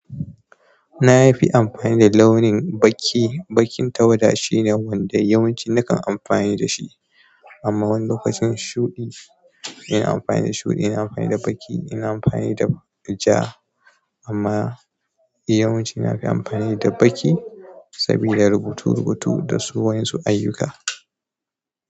Na fi amfani da launin baƙi. Baƙin tawada shine wanda yawanci nakan amfani da shi. Amma wani lokacin shuɗi, ina amfani da shuɗi, ina amfani da baƙi, ina amfani da ja. Amma yawanci na fi amfani da baƙi sabida rubutu-rubutu da wasu ayyuka.